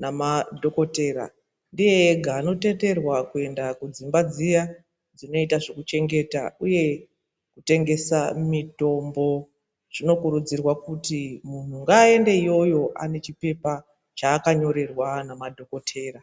na madhokotera ndiye ega ano tenderwa kuenda ku dzimba dziya dzinoita zveku chengeta uye kutengesa mitombo zvino kurudzirwa kuti munhu ngaa ende yoyo ane chipepa chaaka nyorerwa na madhokotera.